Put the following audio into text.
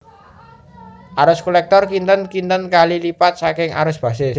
Arus kolektor kinten kinten kali lipat saking arus basis